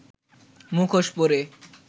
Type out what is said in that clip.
মুখোশ পরে